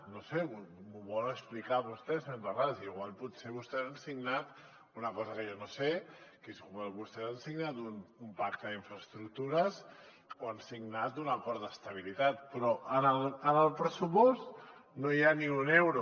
no ho sé m’ho vol explicar vostè senyor terrades potser vostès han signat una cosa que jo no sé que potser vostès han signat un pacte d’infraestructures o han signat un acord d’estabilitat però en el pressupost no hi ha ni un euro